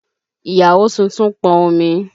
Ìyàwó tuntun pọn omi.